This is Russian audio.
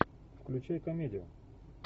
включай комедию